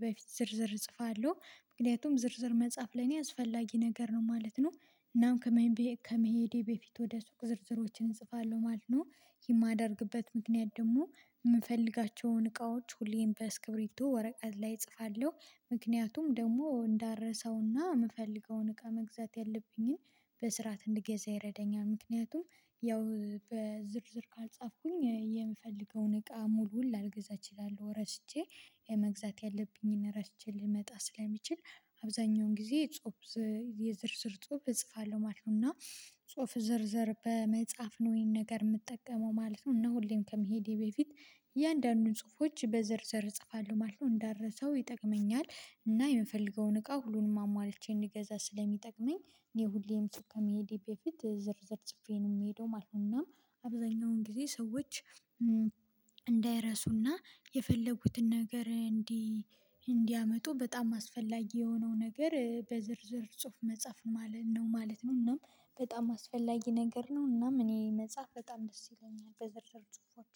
በፊት ዝርዝር እጽፋለሁ ምክንያቱም ዝርዝር መጻፍ ላይ ነው ያስፈላጊ ነገር ነው ማለት ነው እናም ከመሄዴ በፊት ወደ ሱቅ ዝርዝሮችን እጽፋለሁ ማለት ነው። የማደርግበት ምክንያት ደግሞ የምፈልጋቸውን እቃዎች ሁሌም በስክብሪቶ ወረቀት ላይ እጽፋለሁ ምክንያቱም ደግሞ እንዳረሳውና የምፈልገውን እቃ መግዛት ያለብኝን በስርዓት እንድገዛ ይረዳኛል ምክንያቱም ያው በዝርዝር ካልጻፍኩኝ የምፈልገውን እቃ ሙሉዉን ላልገዛች እችላለሁ ረስቼ መግዛት ያለብኝን ረስቼ ልመጣ ስለሚችል አብዛኛውን ጊዜ ጽሁፍ የዝርዝር ጽሁፍ እጽፋለሁ ማለት ነው እና ጽሁፍ ዝርዝር በመጻፍ ነው ይሄን ነገር የምጠቀመው ማለት ነው፣ እና ሁሌም ከመሄዴ በፊት እያንዳንዱን ጽሁፎች በዝርዝር እጽፋለሁ ማለት ነው እንዳረሰው ይጠቅመኛል እና የምፈልገውን እቃ ሁሉንም አሟልቼ እንዲገዛ ስለሚጠቅመኝ እኔ ሁሌም ሱቅ ከመሄዴ በፊት ዝርዝር ጽፌ ነው የምሄደው ማለት ነው፤ እናም አብዛኛውን ጊዜ ሰዎች እንዳይረሱና የፈለጉትን ነገር እንዲህ እንዲያመጡ በጣም አስፈላጊ የሆነው ነገር በዝርዝር ጽሁፍ መጻፍ ነው ማለት ነው እናም በጣም አስፈላጊ ነገር ነው እናም እኔ መጻፍ በጣም ደስ ይለኛል በዝርዝር ጽሁፎች፣